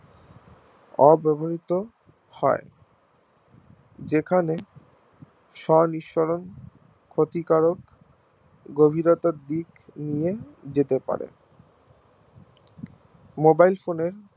অব্যবহৃত হয় যেখানে স্ব নিঃসরণ ক্ষতিকরক গভীরতার দিক নিয়ে যেতে পারে Mobile phone এ